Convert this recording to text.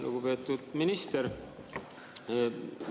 Lugupeetud minister!